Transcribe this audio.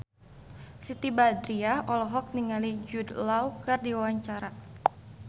Siti Badriah olohok ningali Jude Law keur diwawancara